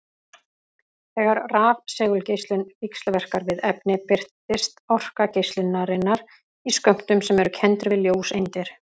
Þegar rafsegulgeislun víxlverkar við efni birtist orka geislunarinnar í skömmtum sem eru kenndir við ljóseindir.